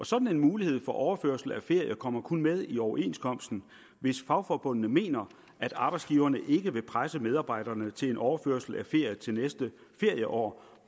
sådan en mulighed for overførsel af ferie kommer kun med i overenskomsten hvis fagforbundene mener at arbejdsgiverne ikke vil presse medarbejderne til en overførsel af ferie til næste ferieår